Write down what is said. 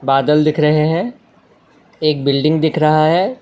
बादल दिख रहे हैं एक बिल्डिंग दिख रहा है।